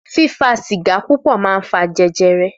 Fífà sígà púpọ̀ mà ń fà jẹjẹrẹ.